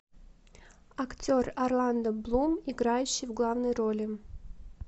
актер орландо блум играющий в главной роли